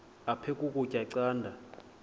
aphek ukutya canda